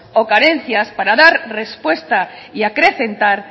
o carencias para dar respuesta y acrecentar